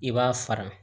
I b'a fara